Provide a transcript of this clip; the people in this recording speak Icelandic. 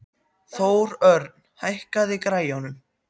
Þórörn, hækkaðu í græjunum.